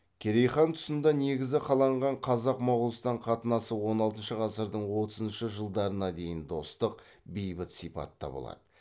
керей хан тұсында негізі қаланған қазақ моғолстан қатынасы он алтыншы ғасырдың отызыншы жылдарына дейін достық бейбіт сипатта болады